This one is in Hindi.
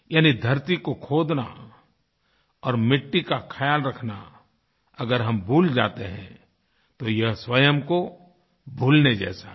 यानी धरती को खोदना और मिट्टी का ख्याल रखना अगर हम भूल जाते हैं तो ये स्वयं को भूलने जैसा है